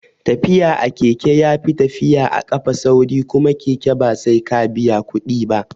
Tafiya a keke yafi tafiya a kafa sauri kuma keke ba sai ka biya kuɗi ba